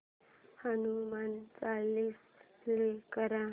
Hanuman Chalisa play कर